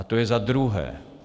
A to je za druhé.